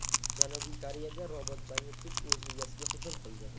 Janubiy Koreyada robot-changyutgich o‘z egasiga hujum qildi.